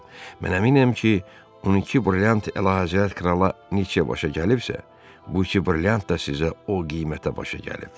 Mən əminəm ki, on iki brilliant Əlahəzrət Krala neçəyə başa gəlibsə, bu iki brilliant da sizə o qiymətə başa gəlib.